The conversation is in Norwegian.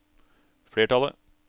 flertallet